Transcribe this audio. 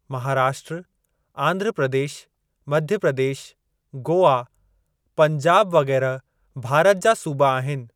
महाराष्ट्र, आंध्र प्रदेश, मध्य प्रदेश, गोआ, पंजाब वग़ैरह भारत जा सूबा आहिनि।